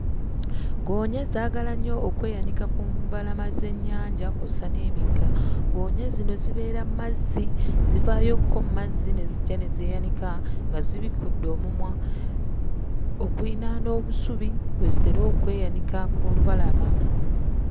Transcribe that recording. Ggoonya zaagala nnyo okweyanika ku mbalama z'ennyanja kw'ossa n'emigga. Ggoonya zino zibeera mu mazzi, zivaayokko mu mazzi ne zijja ne zeeyanika nga zibikudde omumwa. Okuliraana obusubi kwe zitera okweyanika ku lubalama.